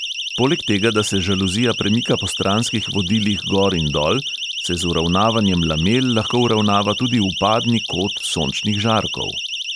Poleg tega, da se žaluzija premika po stranskih vodilih gor in dol, se z uravnavanjem lamel lahko uravnava tudi vpadni kot sončnih žarkov.